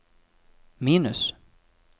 minus